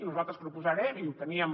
nosaltres proposarem i ho teníem